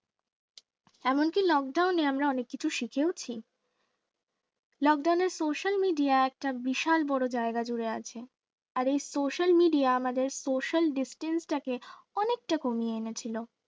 এমনকি lockdown এ আমরা অনেক কিছু শিখেছি lockdown এ social media একটা বিশাল বড় জায়গায় জুড়ে আছে। আর এ social media আমাদের social distance তাকে অনেকটা কমিয়ে এনেছিল